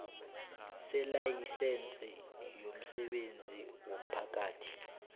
selayisense yomsebenzi womphakathi